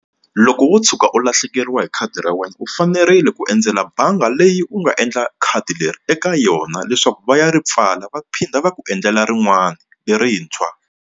Loko wo tshuka u lahlekeriwa hi khadi ra wena u fanerile ku endzela bangi leyi u nga endla khadi leri eka yona leswaku va ya ri pfala va phinda va ku endlela rin'wana lerintshwa.